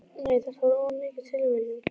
Nei, þetta var of mikil tilviljun.